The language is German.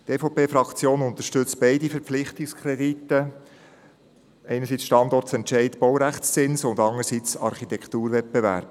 Die EVP-Fraktion unterstützt beide Verpflichtungskredite, einerseits betreffend den Standortentscheid Baurechtszins und anderseits betreffend den Architekturwettbewerb.